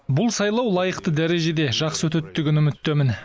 бұл сайлау лайықты дәрежеде жақсы өтеді деген үміттемін